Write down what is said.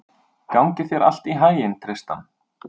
Gangi þér allt í haginn, Tristan.